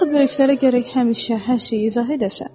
Axı böyüklərə gərək həmişə hər şeyi izah edəsən.